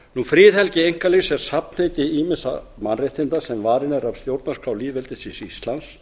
friðhelgi einkalífs er safnheiti ýmissa mannréttinda sem varin eru af stjórnarskrá lýðveldisins íslands